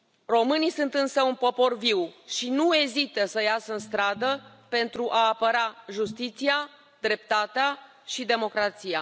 Românii sunt însă un popor viu și nu ezită să iasă în stradă pentru a apăra justiția, dreptatea și democrația.